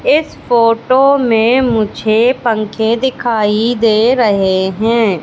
इस फोटो में मुझे पंखे दिखाई दे रहे हैं।